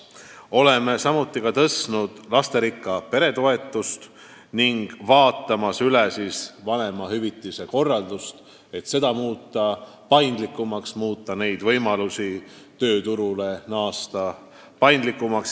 Oleme suurendanud lasterikka pere toetust ning vaatame üle vanemahüvitise süsteemi, et muuta tööturule naasmise võimalused paindlikumaks.